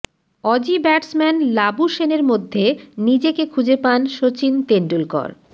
Aussie batsman লাবুশেনের মধ্যে নিজেকে খুঁজে পান শচীন তেন্ডুলকর